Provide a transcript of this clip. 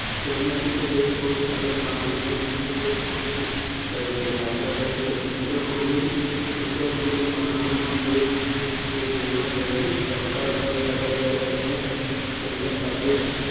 કુતદેહકોષ્ઠ અને પ્રાણીઓને ફૂટદેહકોષ્ઠી કહે છે. દાખલ તરીકે સૂત્રકૃમિ. પ્રાણીઓ કે જેમાં દૈહિક અવકાશ ગેરહાજર હોય તેને